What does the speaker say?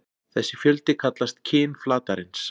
Þessi fjöldi kallast kyn flatarins.